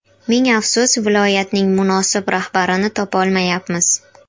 Ming afsus, viloyatning munosib rahbarini topolmayapmiz.